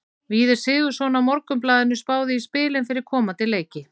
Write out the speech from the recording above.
Víðir Sigurðsson á Morgunblaðinu spáði í spilin fyrir komandi leiki.